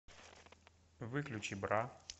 выключи бра